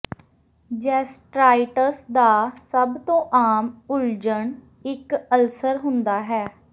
gastritis ਦਾ ਸਭ ਤੋਂ ਆਮ ਉਲਝਣ ਇੱਕ ਅਲਸਰ ਹੁੰਦਾ ਹੈ